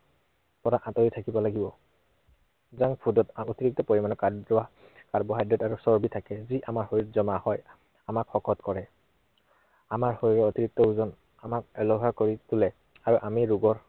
পৰা আঁতিৰ থাকিব লাগিব। junk food ত অতিৰিক্ত পৰিমানৰ কাৰ্ব~কাৰ্বহাইড্ৰেট আৰু চৰ্বি থাকে। যি আমাৰ শৰীৰত জমা হয়। আমাক শকত কৰে। আমাৰ অশৰীৰৰ অতিৰিক্ত ওজন আমাক এলেহুৱা কৰি তোলে আৰু আমি ৰোগৰ